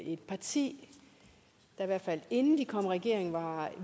et parti der i hvert fald inden de kom i regering var